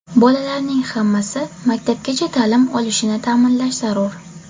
Bolalarning hammasi maktabgacha ta’lim olishini ta’inlash zarur.